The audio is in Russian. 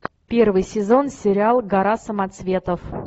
первый сезон сериал гора самоцветов